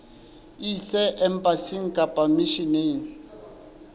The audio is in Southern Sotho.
e ise embasing kapa misheneng